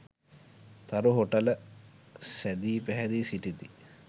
තරු හෝටල සැදී පැහැදී සිටිති.